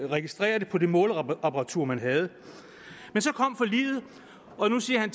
registrere det på det måleapparatur man havde men så kom forliget og nu siger